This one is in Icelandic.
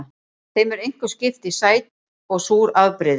Þeim er einkum skipt í sæt og súr afbrigði.